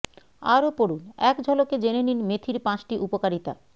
আরও পড়ুুন এক ঝলকে জেনে নিন মেথির পাঁচটি উপকারিতা